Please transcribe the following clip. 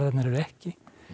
eru ekki